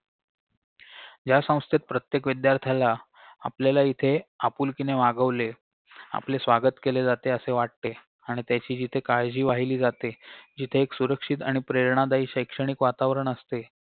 ज्या संस्थेत प्रत्येक विद्यार्त्याला आपल्याला इथे आपुलकीने वागवले आपले स्वागत केले जाते असे वाटते आणि त्याची जिथे काळजी वाहिली जाते जिथे एक सुरक्षित आणि प्रेरणादायी शैक्षणिक वातावरण असते